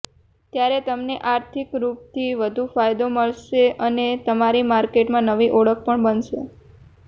ત્યારે તમને આર્થિક રૂપથી વધુ ફાયદો મળશે અને તમારી માર્કેટમાં નવી ઓળખ પણ બનશે